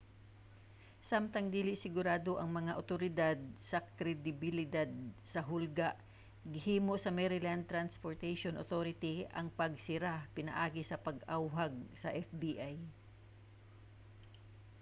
samtang dili sigurado ang mga awtoridad sa kredibilidad sa hulga gihimo sa maryland transportaion authority ang pagsira pinaagi sa pag-awhag sa fbi